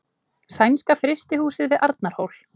Sænska frystihúsið við Arnarhól.